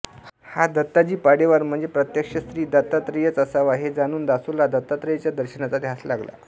हा दत्ताजी पाडेवार म्हणजे प्रत्यक्ष श्री दत्तात्रेयच असावा हे जाणून दासोला दत्तात्रेयाच्या दर्शनाचा ध्यास लागला